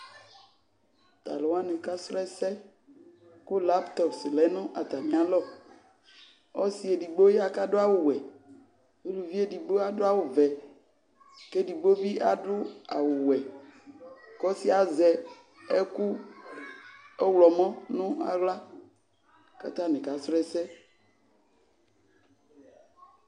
Tʋ alʋ wanɩ kasrɔ ɛsɛ, kʋ laptrɔs lɛ nʋ atamɩ alɔ Ɔsɩ edigbo ya kʋ adʋ awʋ wɛ, uluvi edigbo ya kʋ adʋ awʋ vɛ kʋ edigbo bɩ adʋ awʋ wɛ kʋ ɔsɩ yɛ azɛ ɛkʋ ɔɣlɔmɔ nʋ aɣla kʋ atanɩ kasrɔ ɛsɛ